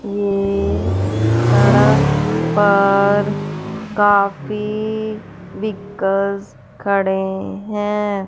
ये सड़क पर काफी व्हीकल्स खड़े हैं।